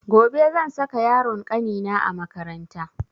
Gobe zan saka yaron kanina a makaranta